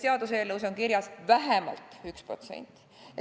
Selles seaduseelnõus on kirjas: vähemalt 1%.